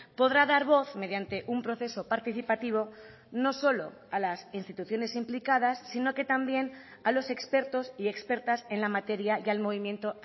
podrá dar voz mediante un proceso participativo no solo a las instituciones implicadas sino que también a los expertos y expertas en la materia y al movimiento